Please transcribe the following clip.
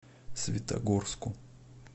светогорску